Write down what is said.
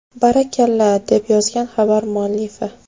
Barakalla!”, deb yozgan xabar muallifi.